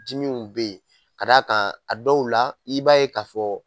Dimiw be yen k'a d'a kan a dɔw la i b'a ye k'a fɔ